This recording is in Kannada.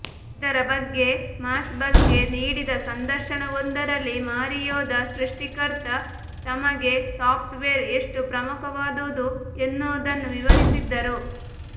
ಇದರ ಬಗ್ಗೆ ಮಾಶಬಲ್ ಗೆ ನೀಡಿದ ಸಂದರ್ಶನವೊಂದರಲ್ಲಿ ಮಾರಿಯೋದ ಸೃಷ್ಟಿಕರ್ತ ತಮಗೆ ಸಾಫ್ಟ್ ವೇರ್ ಎಷ್ಟು ಪ್ರಮುಖವಾದುದು ಎನ್ನುವುದನ್ನು ವಿವರಿಸಿದ್ದರು